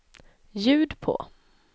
ljud på